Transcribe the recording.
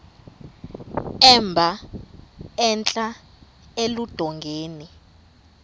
emba entla eludongeni